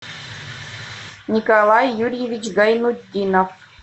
николай юрьевич гайнутдинов